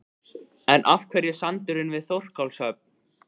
En af hverju sandurinn við Þorlákshöfn?